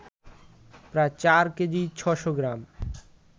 প্রায় চার কেজি ৬শ’ গ্রাম